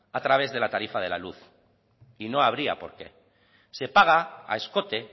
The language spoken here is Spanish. a través de la tarifa de la luz y no habría por qué se paga a escote